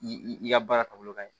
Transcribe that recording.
I ka baara taabolo ka ɲi